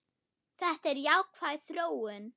Þetta er jákvæð þróun.